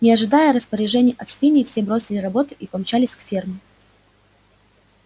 не ожидая распоряжений от свиней все бросили работу и помчались к ферме